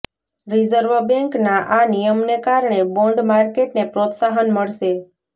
reserve બેન્કના આ નિયમને કારણે બોન્ડ માર્કેટને પ્રોત્સાહન મળશે